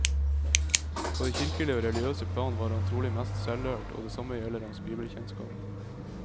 På det kirkelige og religiøse plan var han trolig mest selvlært, og det samme gjelder hans bibelkjennskap.